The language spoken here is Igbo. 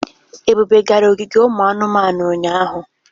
Ebube gara ogige anumanu ụnyahụ?